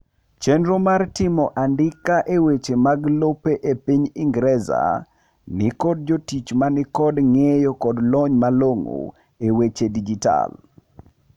chernro mar timo andika e weche mag lope e piny ingereza nikod jotich manikod ng'eyo kod lony malong'o e weche dijital